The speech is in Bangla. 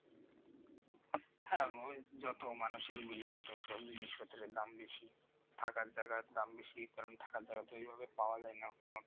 হ্যাঁ যত মানুষের ভিড় তা তো সব জিনিসপত্র দাম বেশি থাকার জায়গা দাম বেশি কারণ থাকার জায়গা এভাবে পাওয়া যায় না।